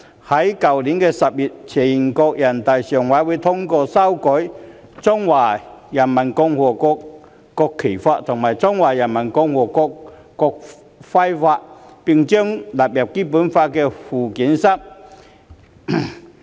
去年10月，全國人民代表大會常務委員會通過修改《中華人民共和國國旗法》及《中華人民共和國國徽法》，並將之納入《基本法》附件三。